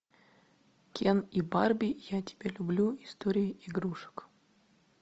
кен и барби я тебя люблю история игрушек